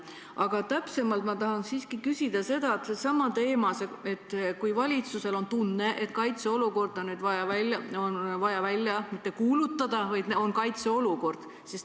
Aga täpsemalt ma tahan siiski küsida sellesama teema kohta, et kui valitsusel on tunne, et kaitseolukord on vaja mitte välja kuulutada, vaid et on tekkinud kaitseolukord.